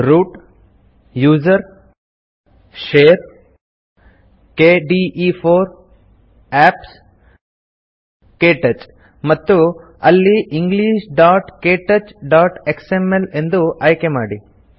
root gtusr gtshare gtkde4 gtapps ಜಿಟಿಕೆಟಚ್ ಮತ್ತು ಅಲ್ಲಿ englishktouchಎಕ್ಸ್ಎಂಎಲ್ ಎಂದು ಆಯ್ಕೆ ಮಾಡಿ